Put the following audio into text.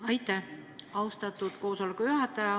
Aitäh, austatud koosoleku juhataja!